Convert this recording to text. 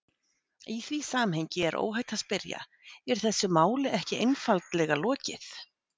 Í því samhengi er óhætt að spyrja: Er þessu máli ekki einfaldlega lokið?